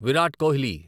Virat Kohli